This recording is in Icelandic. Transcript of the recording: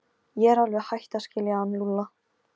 Ég er alveg hætt að skilja hann Lúlla.